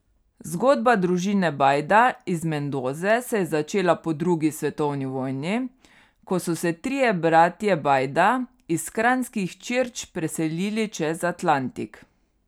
Zgodba družine Bajda iz Mendoze se je začela po drugi svetovni vojni, ko so se trije bratje Bajda iz kranjskih Čirč preselili čez Atlantik.